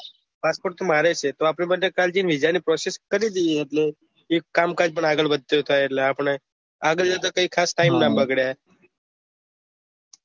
passport તો મારેય છે તો આપડે બંને કાલે જઈ ને વિઝા ની process કરી દઈએ એટલે એક કામ કાજ આગળ વધતું થાય એટલે આપને આગળ જતા કઈ ખાસ time ના બગડે